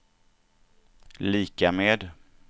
lika med